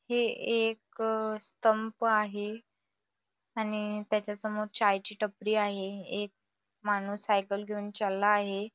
हे एक स्तंभ आहे आणि त्याच्यासमोर एक चाय ची टपरी आहे एक माणूस सायकल घेऊन चालला आहे.